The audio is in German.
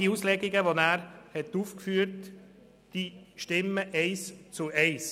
Die Auslegungen, die Grossrat Müller ausgeführt hat, sind richtig.